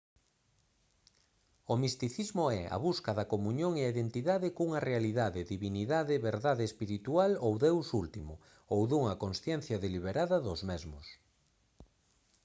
o misticismo é a busca da comuñón e da identidade cunha realidade divindade verdade espiritual ou deus último ou dunha consciencia deliberada dos mesmos